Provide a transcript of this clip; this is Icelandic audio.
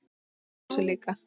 Hann brosir líka.